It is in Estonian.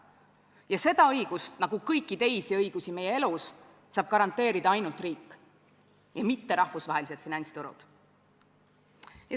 Ja seda õigust, nagu kõiki teisi õigusi meie elus saab garanteerida ainult riik, mitte rahvusvahelised finantsturud.